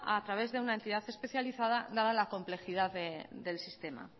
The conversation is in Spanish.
a través de una entidad especializada dada la complejidad del sistema